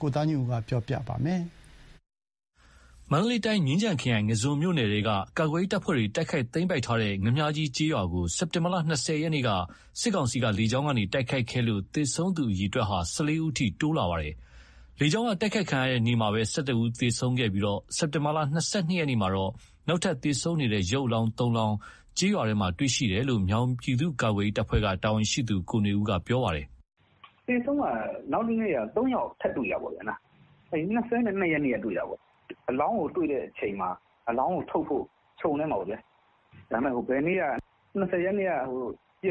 ကို ကိုသားညွန့်ဦးက တင်ပြပေးထားပါတယ်။ မန္တလေးတိုင်း မြင်းခြံခရိုင် ငါန်းဇွန်းမြို့နယ်ထဲက ကာကွယ်ရေးတပ်ဖွဲ့တွေ တိုက်ခိုက်သိမ်းပိုက်ထားတဲ့ ငါန်းမြာကြီးကျေးရွာကို စက်တင်ဘာ ၂၀ ရက်က စစ်ကောင်စီက လေကြောင်းက တိုက်ခိုက်ခဲ့လို့ သေဆုံးသူ အရေအတွက် ၁၄ ဦးအထိ တိုးလာပါတယ်။ လေကြောင်းက တိုက်ခိုက်ခံရတဲ့နေ့မှာ ၁၁ ဦး သေဆုံးခဲ့ပြီး စက်တင်ဘာ ၂၂ ရက်မှာတော့ နောက်ထပ် သေဆုံးနေတဲ့ရုပ်အလောင်း ၃ လောင်းကိုကျေးရွာထဲ တွေ့ရှိခဲ့တယ်လို့ မြောင်ပြည်သူ့ကာကွယ်ရေး တပ်ဖွဲ့ကတာဝန်ရှိသူ ကိုနွေဦးကအခုလို ပြောပါတယ်။ "သေဆုံးက နောက်နေ့မှာ ၃ ယောက် ထပ်တွေ့တာပေါ့။ ၂၂ ရက်နေ့က တွေ့တာပေါ့။ အလောင်းကိုတွေ့တဲ့အချိန်မှာအလောင်းကိုထုတ်ဖို့ ခြုံထဲမှာ ၂၀ ရက်နေ့က ပစ်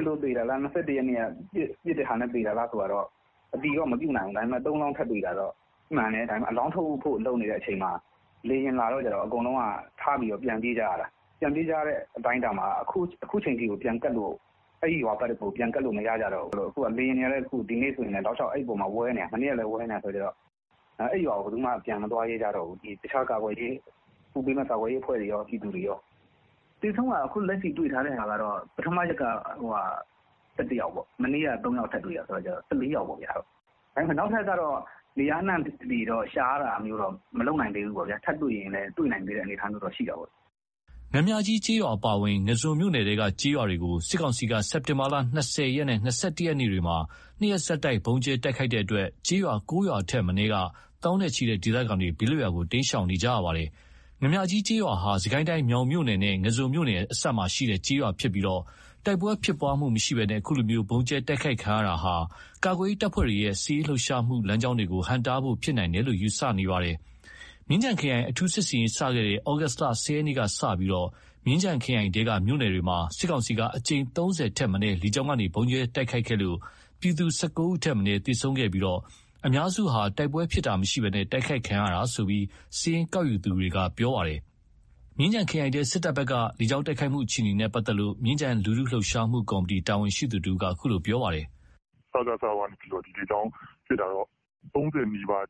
လို့သေတာလား၊ ၂၁ ရက်နေ့က ပစ်လို့သေတာလား အတည်တော့မပြုနိုင်ဘူး။ ဒါပေမယ့် ၃ လောင်း ထပ်တွေ့တာတော့မှန်တယ်။ အလောင်းထုတ်ဖို့အချိန်မှာ လေယာဉ်လာတော့ အကုန်လုံးထားပြီးတော့ ပြန်ပြေးကြရတာ။ အခုချိန်ထိကို အဲ့ရွာကို ပြန်ကပ်လို့မရကြတော့ဘူး။ လေယာဉ်တွေက အခုဆိုလည်းတောက်လျှောက် အဲ့အပေါ်မှာ ဝဲနေတာ။ အခုလည်းဝဲနေတာဆိုတော့ အဲ့ရွာကို ဘယ်သူမှ ပြန်မသွားရဲကြတော့ဘူး။ကာကွယ်ရေးအဖွဲ့တွေကော ပြည်သူတွေကော။ သေဆုံး အခုလက်ရှိတွေ့ထားတာက ပထမရက်က ၁၁ ယောက်၊ မနေ့က၃ ယောက်ထပ်တွေ့တာဆိုတော့ ၁၄ ယောက်ပေါ့။ ဒါပေမယ့် နောက်ထပ် နေရာအနှံ့ ရှာတာတော့ မလုပ်နိုင်သေးဘူးပေါ့။ထပ်တွေ့ရင်လည်း တွေ့နိုင်သေးတဲ့ အနေအထားမျိုးတော့ ရှိတာပေါ့။" ငါန်းမြာကြီးကျေးရွာအပါအဝင် ငါန်းဇွန်မြို့နယ်ထဲက ကျေးရွာကို စစ်ကောင်စီက စက်တင်ဘာ ၂၀ ရက်နဲ့ ၂၁ ရက်တို့မှာ၂ ရက်ဆက်တိုက် ဗုံးကြဲတိုက်ခိုက်တဲ့အတွက် ကျေးရွာ ၉ ရွာထက်မနည်းက သောင်းနဲ့ချီတဲ့ ဒေသခံတွေ ဘေးလွတ်ရာတိမ်းရှောင်နေရတာပါ။ ငါန်းမြာကြီးကျေးရွာဟာ စစ်ကိုင်းတိုင်း မြောင်မြို့နယ်နဲ့ ငါန်းဇွန်မြို့နယ်အစပ်မှာရှိတဲ့ ကျေးရွာဖြစ်ပြီး တိုက်ပွဲဖြစ်တာမရှိဘဲ အခုလို ဗုံးကြဲတိုက်ခိုက်တာဟာ ကာကွယ်ရေးတပ်ဖွဲ့တွေရဲ့ စစ်ရေးလှုပ်ရှားမှုလမ်းကြောင်းတွေကို ဟန့်တားတာဖြစ်နိုင်တယ်လို့ ယူဆနေပါတယ်။ မြင်းခြံခရိုင် အထူးစစ်ဆင်ရေး စတင်ခဲ့တဲ့ သြဂုတ် ၁၀ ရက်ကစလို့ မြင်းခြံခရိုင်ထဲကမြို့နယ်တွေမှာ စစ်ကောင်စီကအကြိမ် ၃၀ ထက် မနည်း လေကြောင်းကနေ ဗုံးကြဲတိုက်ခိုက်ခဲ့ပြီး ပြည်သူ ၁၇ ဦးထက်မနည်း သေဆုံးခဲ့ပြီး အများစုဟာ တိုက်ပွဲဖြစ်တာမရှိဘဲ တိုက်ခိုက်ခံရတာလို့ စာရင်းကောက်ယူထားသူတွေက ပြောပါတယ်။ မြင်းခြံခရိုင်ထဲ စစ်တပ်ဘက်က လေကြောင်းတိုက်ခိုက်မှု အခြေအနေနဲ့ ပတ်သက်လို့ မြင်းခြံလူထု လှုပ်ရှားမှုကော်မတီတာဝန်ရှိသူတဦးက အခုလို ပြောပါတယ်။ "စကစ ဘက်က လေကြောင်းကပစ်တာတော့ ၃၀ နီးပါးလောက်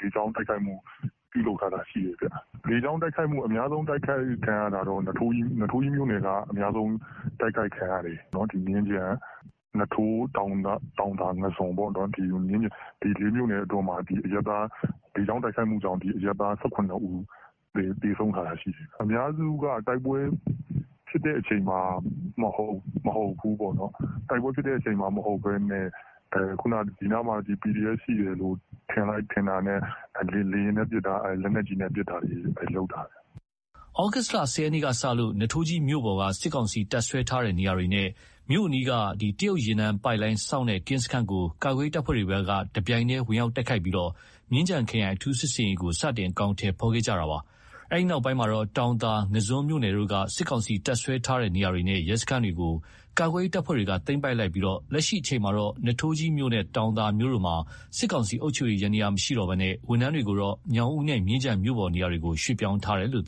လေကြောင်းက တိုက်ခိုက်ထားတာရှိတယ်။ အများဆုံးတိုက်ခိုက်ခံရတာက နွားထိုးကြီးမြို့နယ်က အများဆုံး တိုက်ခိုက်ခံရတာပေါ့။ မြင်းခြံ၊ နွားထိုး၊ တောင်သာ၊ ငါန်းဇွန်၊ မြင်းခြံခရိုင် ၄ မြို့နယ်အတွင်းမှာ လေကြောင်းတိုက်ခိုက်မှုကြောင့် အရပ်သား ၁၇ ဦး သေဆုံးထားတယ်။ အများစုကတိုက်ပွဲဖြစ်တဲ့အချိန်မှာ မဟုတ်ဘူးပေါ့နော်။ တိုက်ပွဲဖြစ်ချိန်မဟုတ်ဘဲ ဒီနားမှာ ကာကွယ်ရေးတပ်ဖွဲ့တွေရှိတယ်ထင်တာနဲ့ လေယာဉ်နဲ့ပစ်တာ၊ လက်နက်ကြီးနဲ့ ပစ်တာ လုပ်တာပဲ။" သြဂုတ် ၁၀ ရက်ကစလို့ နွားထိုးကြီးမြို့ပေါ်က စစ်ကောင်စီ တပ်စွဲထားတဲ့နေရာတွေနဲ့ မြို့အနီးက တရုတ်ရေနံပိုက်လိုင်းစောင့်တဲ့ ကင်းစခန်းကို ကာကွယ်ရေးတပ်ဖွဲ့တွေက တပြိုင်နက် ဝင်ရောက်တိုက်ခိုက်ပြီး မြင်းခြံခရိုင် အထူးစစ်ဆင်ရေးကို စတင်အကောင်ထည် ဖော်ခဲ့တာပါ။ အဲ့ဒီနောက်ပိုင်းမှာ တောင်သာ ငါန်းဇွန်မြို့နယ်တို့က စစ်ကောင်စီ တပ်စွဲထားတဲ့ နေရာတွေနဲ့ ရဲစခန်းတွေကိုကာကွယ်ရေးတပ်ဖွဲ့တွေက သိမ်းပိုက်လိုက်ပြီး လက်ရှိအချိန်မှာတော့ နွားထိုးကြီးမြို့နဲ့ တောင်သာမြို့တို့မှာ စစ်ကောင်စီရဲ့ အုပ်ချုပ်ရေး ယန္တရားမရှိတော့ဘဲ ဝန်ထမ်းတွေကို ညောင်ဦးနဲ့ မြင်းခြံမြို့ပေါ်နေရာတွေကို ရွှေ့ပြောင်းထားပါတယ်။